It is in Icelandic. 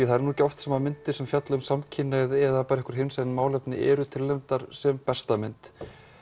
það er nú ekki oft sem myndir sem fjalla um samkynhneigð eða einhvern veginn hinsegin málefni eru tilnefndar sem besta mynd